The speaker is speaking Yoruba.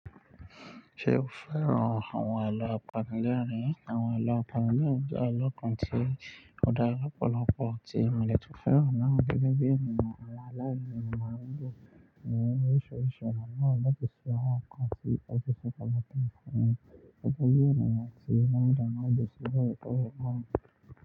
Ṣe o fẹ́ran awọn alọ apanilẹ́rìn? Awọn alọ apanilẹ́rìn jẹ́ alọ kan tí ó dára lọ́pọ̀lọpọ̀, tí mọ̀dẹ̀ tún fẹ́ran náà gẹ́gẹ́ bí ènìyàn aláìní mọ̀rìngbọ̀ ní oríṣiríṣi ọ̀nà, láti sọ̀rọ̀ kan tí ó ṣòfò lọtúùn fún un, títí dé ènìyàn tí mọ̀lẹ̀ náà lè sọ̀rọ̀ pẹ̀lú wọn.